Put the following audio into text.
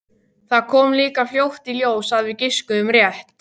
Það kom líka fljótt í ljós að við giskuðum rétt.